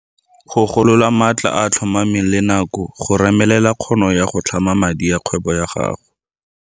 Go golola maatla a a tlhomameng le nako go remelela kgono ya go tlhama madi ya kgwebo ya gago.